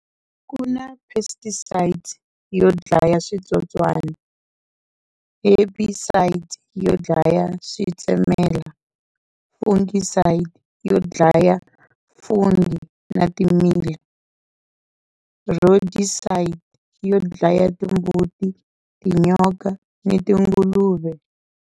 Ku na pesticides yo dlaya switsotswanq, herbicides yo dlaya switsemelela, fungicide yo dlaya fungi na yo dlaya timbuti, tinyoka ni tinguluve.